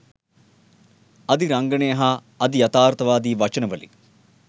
අධි රංගනය හා අධි යථාර්තවාදී වචන වලින්